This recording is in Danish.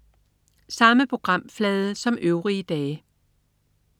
Samme programflade som øvrige dage